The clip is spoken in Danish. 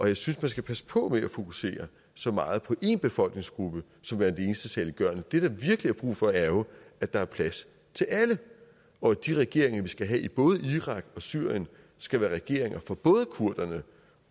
jeg synes man skal passe på med at fokusere så meget på én befolkningsgruppe som værende det eneste saliggørende det der virkelig er brug for er jo at der er plads til alle og at de regeringer vi skal have i både irak og syrien skal være regeringer for både kurderne